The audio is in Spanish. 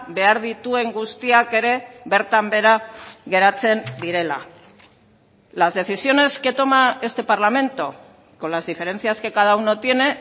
behar dituen guztiak ere bertan behera geratzen direla las decisiones que toma este parlamento con las diferencias que cada uno tiene